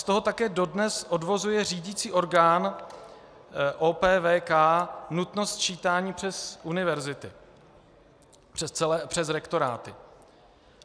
Z toho také dodnes odvozuje řídicí orgán OPVK nutnost sčítání přes univerzity, přes rektoráty.